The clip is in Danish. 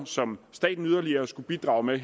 som staten yderligere skulle bidrage med